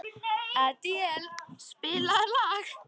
Adíel, spilaðu lag.